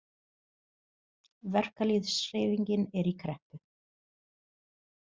Verkalýðshreyfingin er í kreppu.